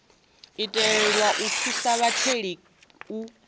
itelwa u thusa vhatheli u